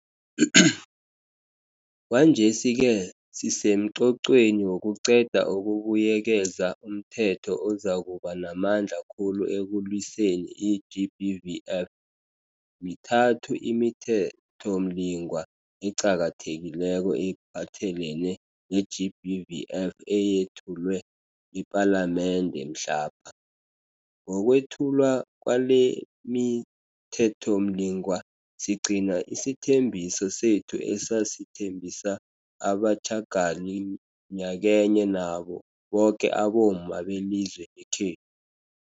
Kwanjesi-ke sisemqoqweni wokuqeda ukubuyekeza umthetho ozakuba namandla khulu ekulwiseni i-GBVF . Mithathu imiThethomlingwa eqakathekileko ephathelene neGBVF eyethulwe ePalamende mhlapha. Ngokwethulwa kwalemiThethomlingwa, sigcina isithembiso sethu esasithembisa abatjhagali nyakenye nabo boke abomma belizwe lekhe